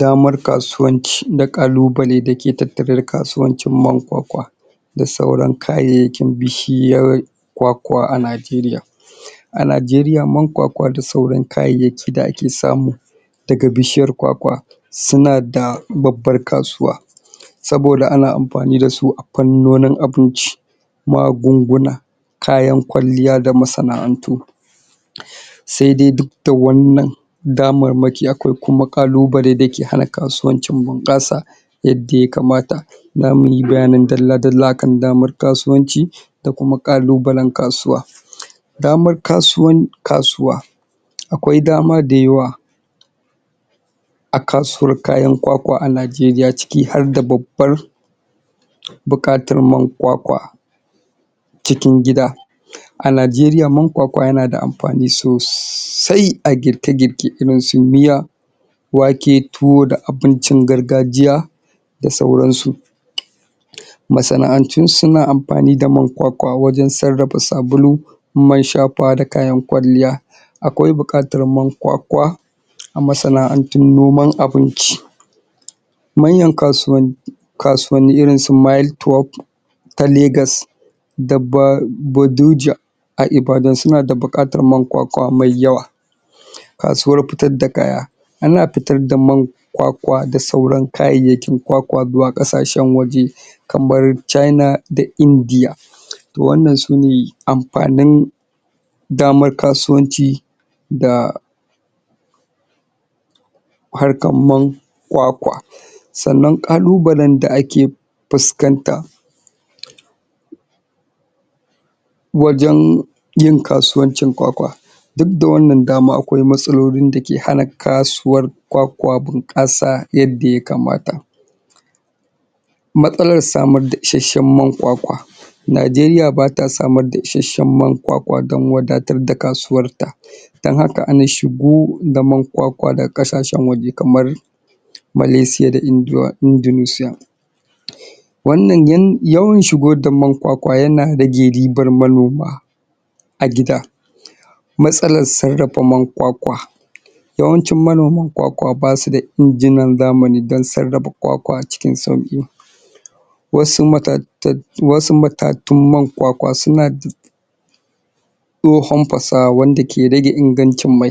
Damar kasuwanci na ƙalubale dake tattare da kasuwancin man kwakwa da sauran kayayyakin bishiyar kwakwa a Najeriya a Najeriya man kwakwa da sauran kayayyaki da ake samu daga bishiyar kwakwa suna da babbar kasuwa saboda ana amfani da su a fannonin abinci magunguna kayan kwalliya da masana'antu sai dai duk da wannan damarmaki akwai kuma ƙalubale da ke hana kasuwancin bunƙasa yadda yakamata zamu yi bayanin dalla-dalla akan damar kasuwanci da kuma ƙalubalen kasuwa damar kasuwan kasuwa akwai dama da yawa a kasuwar kayan kwakwa a Najeriya ciki har da babbar buƙatar man kwakwa cikin gida a Najeriya man kwakwa yana da amfani sosai a girke-girke irin su miya wake, tuwo da abincin gargajiya da sauran su masana'antu suna amfani da man kwakwa wajen sarrafa sabulu man shafawa da kayan kwalliya akwai buƙatar man kwakwa a masana'antun noman abinci manyan kasuwanni kasuwanni irin su mile twelve ta Lagos da ba baduja a Ibadan suna da buƙatar man kwakwa mai yawa kasuwar fitar da kaya ana fitar da man kwakwa da sauran kayayyakin kwakwa zuwa ƙasashen waje kamar China da India wannan su ne amfanin damar kasuwanci da harkan man kwakwa sannan ƙalubalen da ake fuskanta wajen yin kasuwancin kwakwa duk da wannan dama akwai matsalolin da ke hana kasuwan kwakwa buƙasa yadda yakamata matsalar samar da isashen man kwakwa Najeriya bata samar da isashen man kwakwa dan wadatar da kasuwar ta dan haka ana shigo da man kwakwa daga ƙasashen waje kamar Malaysia da Indonesia wannan yawan shigo da man kwakwa yana rage ribar manoma a gida matsalar sarrafa man kwakwa yawancin manoman kwakwa basu da injinan zamani dan sarrafa kwakwa cikin sauƙi wasu matatattun matatun man kwakwa suna da tsohon fasaha wanda ke rage ingancin mai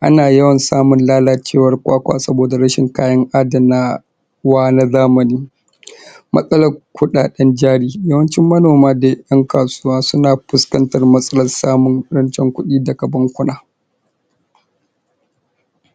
ana yawan samun lalacewar kwakwa saboda rashin kayan adana wa na zamani matsalar kuɗaɗen jari yawancin manoma dai ƴan kasuwan suna fuskantar matsalar samun rancen kuɗi daga bankuna.